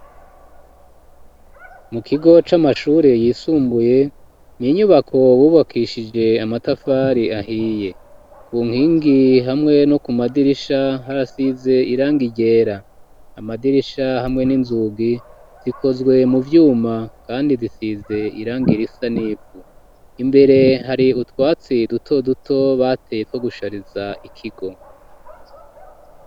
Mu kigo c'amashure yisumbuye n'inyubako bubakishije amatafari ahiye ku nkingi hamwe no ku madirisha harasize irangi ryera amadirisha hamwe n'inzugi zikozwe mu vyuma kandi zisize irangi risa nivu imbere hari utwatsi duto duto bateye two gushariza ikigo.